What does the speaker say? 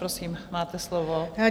Prosím, máte slovo.